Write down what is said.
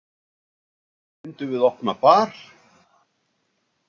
Kannski myndum við opna bar.